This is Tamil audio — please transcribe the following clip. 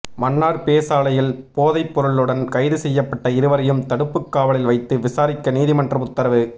மன்னார் பேசாலையில் போதைப்பொருளுடன் கைது செய்யப்பட்ட இருவரையும் தடுப்புக்காவலில் வைத்து விசாரிக்க நீதிமன்றம் உத்தரவு